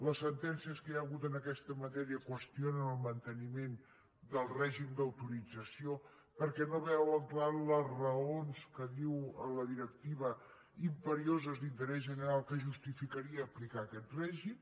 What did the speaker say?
les sentències que hi ha hagut en aquesta matèria qüestionen el manteniment del règim d’autorització perquè no veuen clar les raons que diu la directiva imperioses d’interès general que justificarien aplicar aquest règim